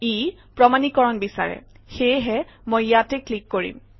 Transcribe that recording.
ই প্ৰমাণীকৰণ বিচাৰে সেয়েহে মই ইয়াতে ক্লিক কৰিম